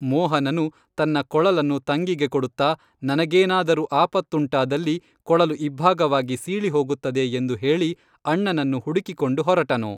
ಮೋಹನನು ತನ್ನ ಕೊಳಲನ್ನು ತಂಗಿಗೆ ಕೊಡುತ್ತಾ ನನಗೇನಾದರೂ ಆಪತ್ತುಂಟಾದಲ್ಲಿ ಕೊಳಲು ಇಬ್ಭಾಗವಾಗಿ ಸೀಳಿಹೋಗುತ್ತದೆ ಎಂದು ಹೇಳಿ ಅಣ್ಣನನ್ನು ಹುಡುಕಿಕೊಂಡು ಹೊರಟನು